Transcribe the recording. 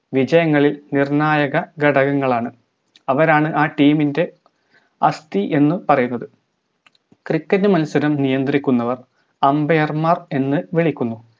വിജയങ്ങളിൽ നിർണായക ഘടകങ്ങളാണ് അവരാണ് ആ team ൻറെ ആസ്തി എന്ന് പറയുന്നത് cricket മത്സരം നിയന്ത്രിക്കുന്നവർ umbair മാർ എന്ന് വിളിക്കുന്നു